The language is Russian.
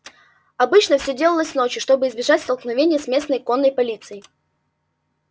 обычно всё делалось ночью чтобы избежать столкновения с местной конной полицией